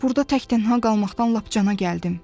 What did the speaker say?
Burda təkdənha qalmaqdan lap cana gəldim.